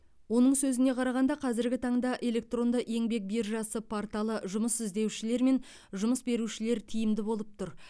оның сөзіне қарағанда қазіргі таңда электронды еңбек биржасы порталы жұмыс іздеушілер мен жұмыс берушілер тиімді болып тұр